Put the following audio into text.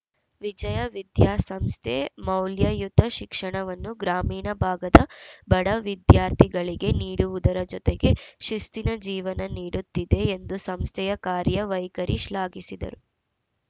ವಿಜಯ ವಿದ್ಯಾಸಂಸ್ಥೆ ಮೌಲ್ಯಯುತ ಶಿಕ್ಷಣವನ್ನು ಗ್ರಾಮೀಣ ಭಾಗದ ಬಡ ವಿದ್ಯಾರ್ಥಿಗಳಿಗೆ ನೀಡುವುದರ ಜೊತೆಗೆ ಶಿಸ್ತಿನ ಜೀವನ ನೀಡುತ್ತಿದೆ ಎಂದು ಸಂಸ್ಥೆಯ ಕಾರ್ಯ ವೈಖರಿ ಶ್ಲಾಘಿಸಿದರು